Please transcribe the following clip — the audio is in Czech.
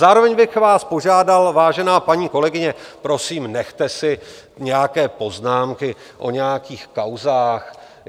Zároveň bych vás požádal, vážená paní kolegyně, prosím, nechte si nějaké poznámky o nějakých kauzách.